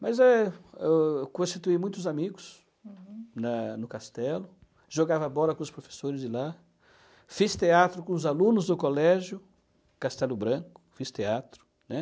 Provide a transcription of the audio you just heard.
mas eh, eu constitui muitos amigos na no castelo, jogava bola com os professores de lá, fiz teatro com os alunos do colégio, Castelo Branco, fiz teatro, né?